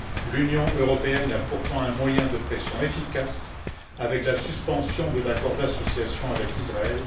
L'Union européenne a pourtant un moyen de pression efficace avec la suspension de l'accord d'association avec Israël.